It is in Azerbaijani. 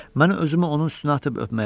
Mən özümü onun üstünə atıb öpməyə başladım.